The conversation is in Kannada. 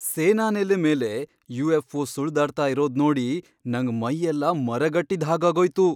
ಸೇನಾನೆಲೆ ಮೇಲೆ ಯು.ಎಫ್.ಒ. ಸುಳ್ದಾಡ್ತಾ ಇರೋದ್ನೋಡಿ ನಂಗ್ ಮೈಯೆಲ್ಲ ಮರಗಟ್ಟಿದ್ ಹಾಗಾಗೋಯ್ತು.